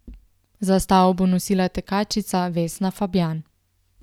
Zastavo bo nosila tekačica Vesna Fabjan.